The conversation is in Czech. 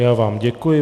Já vám děkuji.